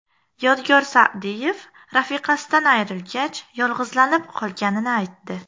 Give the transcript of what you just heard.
Yodgor Sa’diyev rafiqasidan ayrilgach yolg‘izlanib qolganini aytdi.